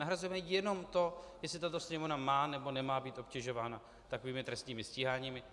Nahrazujeme jenom to, jestli tato Sněmovna má, nebo nemá být obtěžována takovými trestními stíháními.